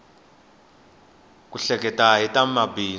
ku hleketa hi ta mabindzu